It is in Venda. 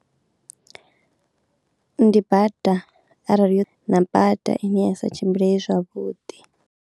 Ndi bada arali hu na bada i ne ya sa tshimbileye zwavhuḓi.